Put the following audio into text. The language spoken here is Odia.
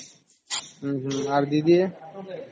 ଓ ହମ୍ମ ଆଉ ଦିଦି ?